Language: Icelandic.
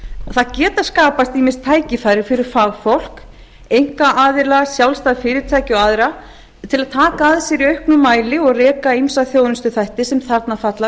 það geta skapast ýmis tækifæri fyrir fagfólk einkaaðila sjálfstæð fyrirtæki og aðra til að taka að sér í auknum mæli og reka ýmsa þjónustuþætti sem þarna falla